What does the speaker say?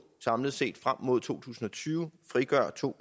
samlet set frem mod to tusind og tyve frigør to